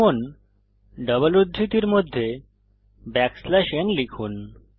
এবং ডাবল উদ্ধৃতির মধ্যে ব্যাকস্ল্যাশ n লিখুন